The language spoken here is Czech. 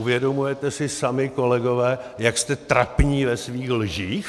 Uvědomujete si sami, kolegové, jak jste trapní ve svých lžích?